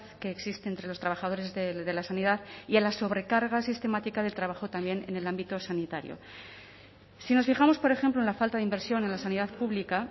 que existe entre los trabajadores de la sanidad y a la sobrecarga sistemática del trabajo también en el ámbito sanitario si nos fijamos por ejemplo en la falta de inversión en la sanidad pública